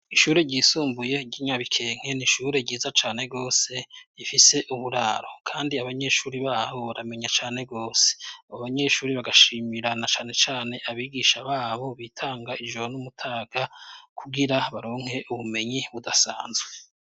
Ishure ryisumbuye ry'inyabikenke n'ishure ryiza cane gose rifise uburaro kandi abanyeshuri baho baramenya cane gose. Abobanyeshure bagashimirana canecane abigisha babo bitanga ijoro n'umutaga kugira baronke ubumenyi budasanzwe.